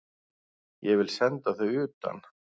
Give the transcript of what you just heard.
Ég vil senda þá utan!